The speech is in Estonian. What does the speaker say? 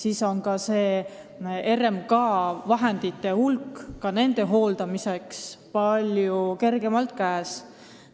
Väga oluline on seegi, et RMK-l on nende maade hooldamiseks ka palju kergemalt vahendeid käes.